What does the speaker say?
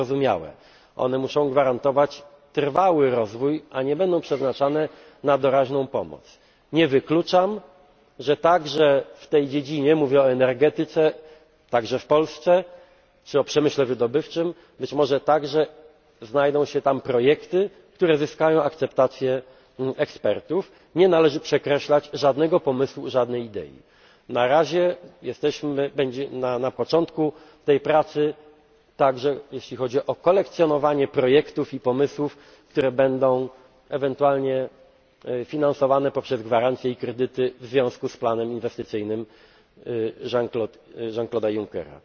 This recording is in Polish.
zyskownymi. To zrozumiałe. One muszą gwarantować trwały rozwój, a nie będą przeznaczane na doraźną pomoc. Nie wykluczam, że także w tej dziedzinie mówię o energetyce, także w Polsce, czy o przemyśle wydobywczym być może znajdą się projekty, które zyskają akceptację ekspertów. Nie należy z góry przekreślać żadnego pomysłu, żadnej idei. Na razie jesteśmy na początku tej pracy, także jeśli chodzi o kolekcjonowanie projektów i pomysłów, które będą ewentualnie finansowane poprzez gwarancje i kredyty w związku z planem inwestycyjnym